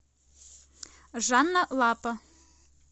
жанна лапа